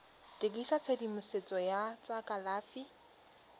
dirisa tshedimosetso ya tsa kalafi